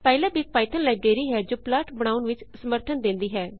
PyLab ਇੱਕ Python library ਹੈ ਜੋ ਪਲਾਟ ਬਣਾਉਨ ਵਿਚ ਸਮਰਥਨ ਦੇਂਦੀ ਹੈ